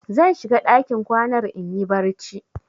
Zan shiga ɗakin kwanar in yi barci.